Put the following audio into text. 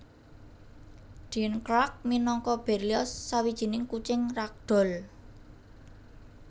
Dean Clark minangka Berlioz Sawijining kucing ragdoll